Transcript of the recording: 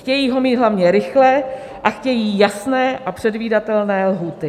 Chtějí ho mít hlavně rychle a chtějí jasné a předvídatelné lhůty.